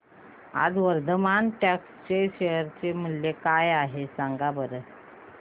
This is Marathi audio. आज वर्धमान टेक्स्ट चे शेअर मूल्य काय आहे सांगा बरं